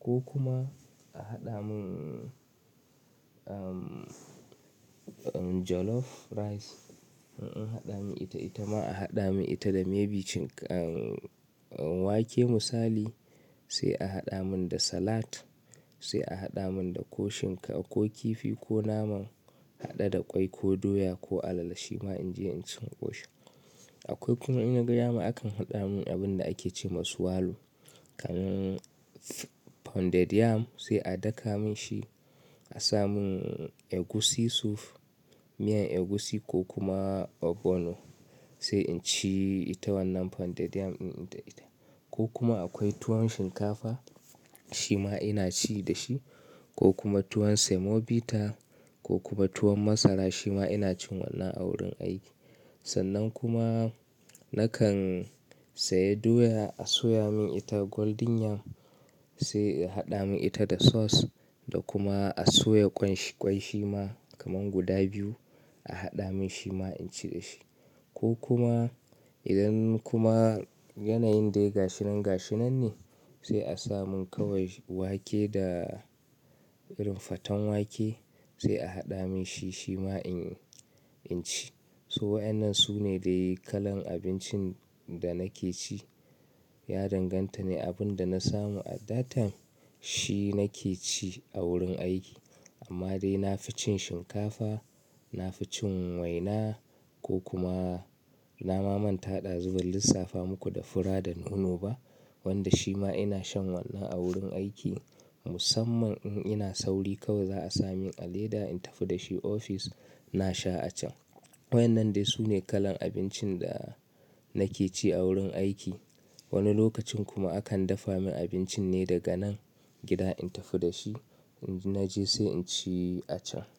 Ko kuma a haɗa min mun jollof rice in an haɗa mun ita ita ma a haɗa mun ita da maybe wake misali sai a haɗa mun da salat sai a haɗa mun da ko shinka ko kifi ko naman haɗe da ƙwai ko doya ko alala shima inje inci in ƙoshi. Aƙwai kuma in nagadama akan haɗa mun abun da ake ce masu walu kamar pounded yam sai a daka mun shi a sa mun egusi soup, miyan egusi ko kuma ogbono sai inci ita wannan pounded yam inda ita. Ko kuma aƙwai tuwon shinkafa shima ina ci dashi, ko kuma tuwon semobita ko kuma tuwon masara shima ina cin wannan a wurin aiki. Sannan kuma nakan saya doya a soya mun ita golden yam sai a haɗa mun ita da sauce da kuma a soya ƙwai shima kamar guda biyu a haɗa mun shi ma in ci da shi. Ko kuma idan kuma yanayin dai gashinan gashinan ne sai a sa mun kawai wake da irin faten wake sai a haɗa mun shi shima inci. To waƴannan sune dai kalan abincin da nake ci. Ya danganta ne abinda na samu at that time shi nake ci a wurin aiki. Amma dai nafi cin shinkafa, nafi cin waina ko kuma na ma manta ɗazu ban lissafa muku da fura da nono ba. Wanda shi ma ina shan wannan a wurin aiki. Musamman in ina sauri kawai za'a sa mun a leda in tafi da shi ofis na sha a can. Waƴannan dai su ne kalan abincin da nake ci a wurin aiki. Wani lokacin kuma akan dafa mun abincin ne daga nan gida in tafi da shi in naje sai inci a can.